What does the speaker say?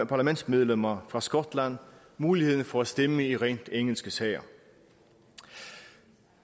parlamentsmedlemmer fra skotland muligheden for at stemme i rent engelske sager